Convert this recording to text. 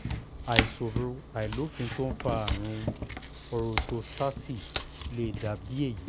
àìṣòro àìlófín tó ń fa àrùn orótóstásììì lè dà bí èyí